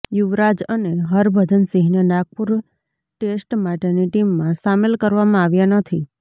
યુવરાજ અને હરભજન સિંહને નાગપુર ટેસ્ટ માટેની ટીમમાં સામેલ કરવામાં આવ્યા નથી